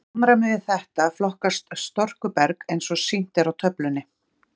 Í samræmi við þetta flokkast storkuberg eins og sýnt er á töflunni.